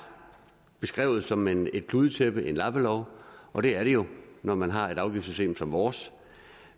beskrevet som et kludetæppe og en lappelov og det er det jo når man har et afgiftssystem som vores